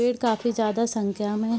पेड़ काफ़ी ज्यादा संख्या में --